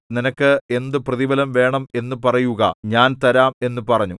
നിനക്ക് എന്ത് പ്രതിഫലം വേണം എന്നു പറയുക ഞാൻ തരാം എന്നു പറഞ്ഞു